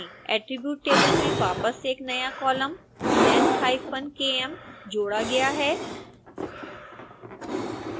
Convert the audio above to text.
attribute table में वापस एक नया कॉलम length_km जोड़ा गया है